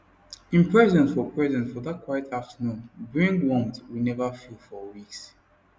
him presence for presence for that quiet afternoon bring warmth we never feel for weeks